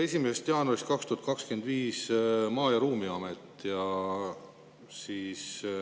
1. jaanuarist 2025 tuleb Maa‑ ja Ruumiamet.